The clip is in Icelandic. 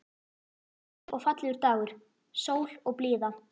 Þetta var hlýr og fallegur dagur, sól og blíða.